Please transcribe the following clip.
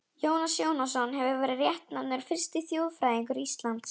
Jónas Jónasson hefur verið réttnefndur fyrsti þjóðfræðingur Íslands.